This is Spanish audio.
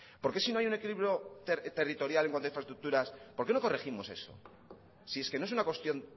por qué si no hay un equilibrio territorial en cuanto a infraestructuras por qué no corregimos eso si es que no es una cuestión